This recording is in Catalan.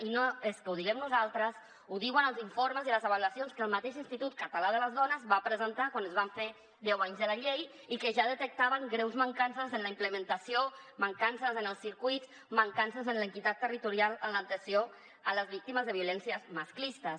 i no és que ho diguem nosaltres ho diuen els informes i les avaluacions que el mateix institut català de les dones va presentar quan es van fer deu anys de la llei i que ja detectaven greus mancances en la implementació mancances en els circuits mancances en l’equitat territorial en l’atenció a les víctimes de violències masclistes